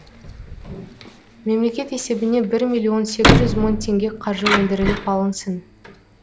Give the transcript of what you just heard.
мемлекет есебіне бір миллион сегіз жүз мың теңге қаржы өндіріліп алынсын